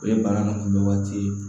O ye bana nunnu kunbɛ waati ye